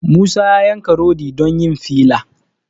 Musa ya yanka rodi don yin filla